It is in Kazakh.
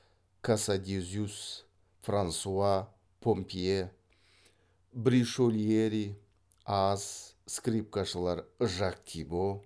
касадезюс франсуа помпье бришольери ааз скрипкашылар жак тибо